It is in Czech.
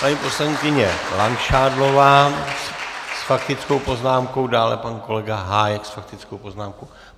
Paní poslankyně Langšádlová s faktickou poznámkou, dále pan kolega Hájek s faktickou poznámkou.